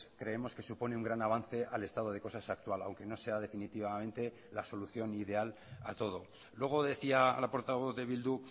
creemos que supone un gran avance al estado de cosas actual aunque no sea definitivamente la solución ideal a todo luego decía la portavoz de bildu